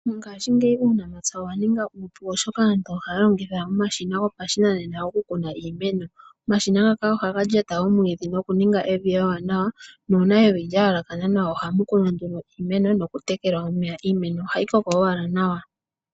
Mongaashingeyi uunamapya owa ninga uupu oshoka aantu ohaya longitha omashina gopashinanena oku kuna iimeno. Omashina ngaka ohaga lya ta omwiidhi nokuninga evi ewaanawa na uuna evi lya yalakana nawa ohamu kunwa nduno iimeno nokutekela iimeno ohayi koko owala nawa.